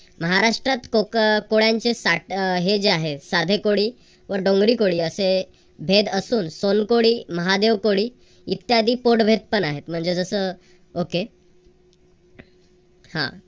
महाराष्ट्रात कोक अह कोळ्यांचे साठ अह हे जे आहेत साधे कोळी व डोंगरी कोळी असे भेद असून सोनकोळी, महादेवकोळी इत्यादी कोडवेत पण आहेत म्हणजे जस okay हा